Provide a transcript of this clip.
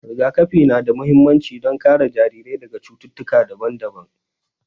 Rigakafi na da mahimmanci don kare jarirai daga cututtuka daban-daban.